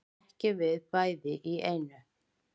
Ekki við bæði í einu